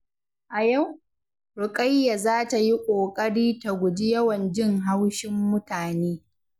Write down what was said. A yau, Ruqayyah za ta yi ƙoƙari ta guji yawan jin haushin mutane.